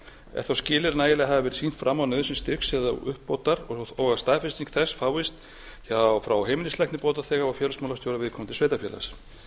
er þá skilyrði að nægilega hafi verið sýnt fram á nauðsyn styrks eða uppbótar og að staðfesting þess efnis fáist frá heimilislækni bótaþega og félagsmálastjóra viðkomandi sveitarfélags